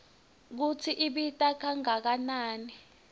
kutsi ibita kangakanani